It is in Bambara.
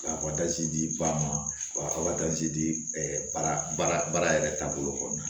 K'a di ba ma ka wajibi di baara baara yɛrɛ taabolo kɔnɔna na